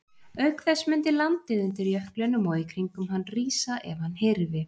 Auk þess mundi landið undir jöklinum og í kringum hann rísa ef hann hyrfi.